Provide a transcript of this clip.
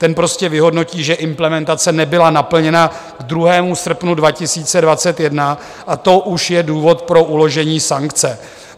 Ten prostě vyhodnotí, že implementace nebyla naplněna k 2. srpnu 2021, a to už je důvod pro uložení sankce.